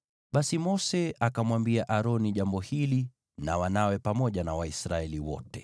Basi Mose akamwambia Aroni jambo hili na wanawe, pamoja na Waisraeli wote.